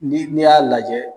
Ni y'a lajɛ.